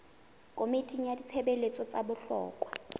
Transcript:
komiting ya ditshebeletso tsa bohlokwa